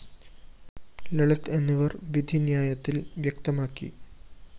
ലളിത് എന്നിവര്‍ വിധിന്യായത്തില്‍ വ്യക്തമാക്കി